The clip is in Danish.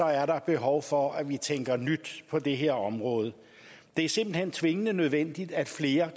er der behov for at vi tænker nyt på det her område det er simpelt hen tvingende nødvendigt at flere